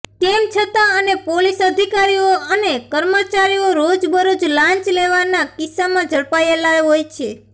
તેમ છતાં અને પોલીસ અધિકારીઓ અને કર્મચારીઓ રોજબરોજ લાંચ લેવા ના કિસ્સામાં ઝડપાયેલા હોય છે